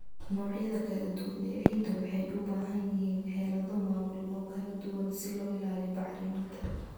Noocyada kala duwan ee ciidda waxay u baahan yihiin xeelado maamul oo kala duwan si loo ilaaliyo bacriminta.